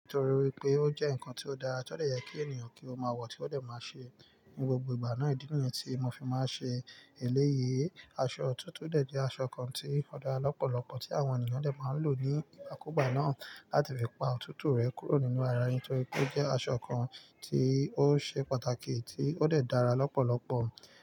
Nítorí pé o jẹ́ nǹkan tí ó dá, a tó dẹ̀ yẹ kí ènìyàn kí ó máa wọ̀ tí ó dẹ̀ máa ṣe. Ni gbogbo ìgbà náà, ìdí niyẹn tí mo fi máa ń ṣe eléyìí. Aṣọ òtútù dẹ̀ jẹ́ aṣọ kan tí ó dára lọ́pọ̀lọpọ̀ tí àwọn ènìyàn dẹ̀ máa ń lò ní ìgbàkúgbà náà láti fi pa òtútù rẹ̀ kúrò nínú ara ẹni torí pé ó jẹ́ aṣọ kan tí ó ṣe pàtàkì tí ó dẹ̀ dára lọ́pọ̀lọpọ̀.